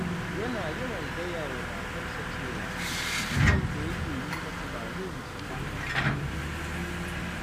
Yana yawan gaya wa matarsa cewa, son da yake yi mata ba zai misaltu ba.